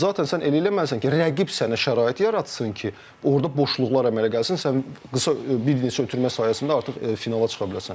zaten sən elə eləməlisən ki, rəqib sənə şərait yaratsın ki, orda boşluqlar əmələ gəlsin, sən qısa bir neçə ötürmə sayəsində artıq finala çıxa biləsən.